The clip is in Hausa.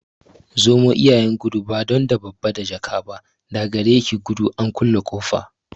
Zomo iyayen gudu, ba don da babba da jaka ba, da gare ki gudu an kulle ƙofa.